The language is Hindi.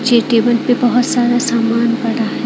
ये टेबल पे बहोत सारा सामान पड़ा है।